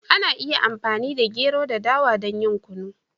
Ana iya amfani da gero da dawa don yin Kunu.